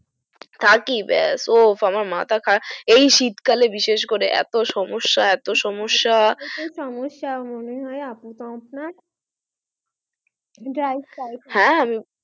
থাকি ব্যাস তো মাথা খারাপ এই শীত কালে বিশেষ করে এত সমস্যা এত সমস্যা সমস্যা মনে হয় আপু তো আপনার dry sclap হ্যা